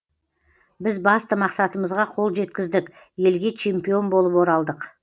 біз басты мақсатымызға қол жеткіздік елге чемпион болып оралдық